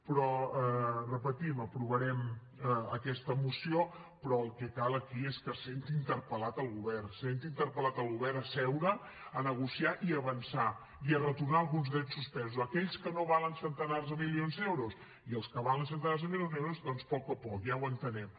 però ho repetim aprovarem aquesta moció però el que cal aquí és que es senti interpel·lat el govern es senti interpel·lat el govern a seure a negociar i a avançar i a retornar alguns drets suspesos aquells que no valen centenars de milions d’euros i els que valen centenars de milions d’euros doncs a poc a poc ja ho entenem